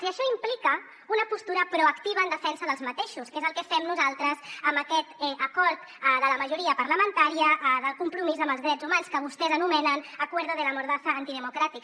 i això implica una postura proactiva en defensa d’aquests que és el que fem nosaltres amb aquest acord de la majoria parlamentària del compromís amb els drets humans que vostès anomenen acuerdo de la mordaza antidemocrática